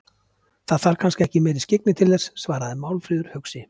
Það þarf kannski ekki meiri skyggni til þess, svarar Málfríður hugsi.